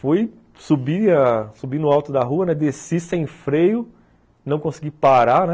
Fui, subi ãh subi no alto da rua, desci sem freio, não consegui parar, né?